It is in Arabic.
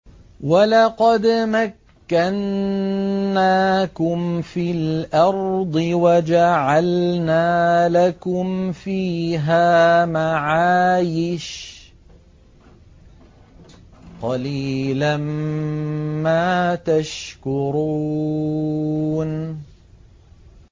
وَلَقَدْ مَكَّنَّاكُمْ فِي الْأَرْضِ وَجَعَلْنَا لَكُمْ فِيهَا مَعَايِشَ ۗ قَلِيلًا مَّا تَشْكُرُونَ